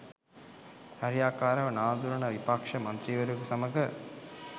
හරියාකාරව නාඳුනන විපක්‌ෂ මන්ත්‍රීවරයකු සමග